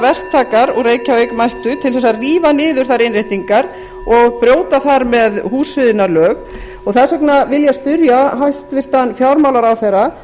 verktakar úr reykjavík mættu til að rífa niður þær innréttingar og brjóta þar með húsfriðunarlög þess vegna vil ég spyrja hæstvirtan fjármálaráðherra